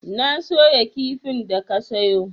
Na soya kifin da ka sayo.